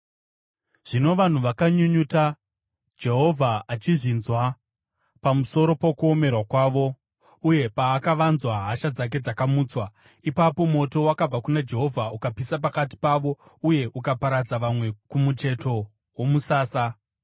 Zvino vanhu vakanyunyuta, Jehovha achizvinzwa, pamusoro pokuomerwa kwavo, uye paakavanzwa hasha dzake dzakamutswa. Ipapo moto wakabva kuna Jehovha ukapisa pakati pavo uye ukaparadza vamwe kumucheto womusasa.